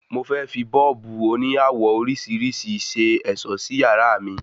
Mo fẹ́ fi bọ́ọ̀bù oní àwọ̀ oríṣìíríṣìí ṣe ẹ̀ṣọ́ sí yàrá mi